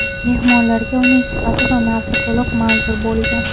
Mehmonlarga uning sifati va narxi to‘liq manzur bo‘lgan.